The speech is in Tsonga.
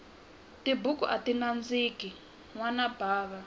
tibuku ati nandziki nwana bava